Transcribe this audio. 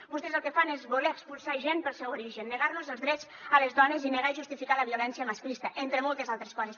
vostès el que fan és voler expulsar gent pel seu origen negar nos els drets a les dones i negar i justificar la violència masclista entre moltes altres coses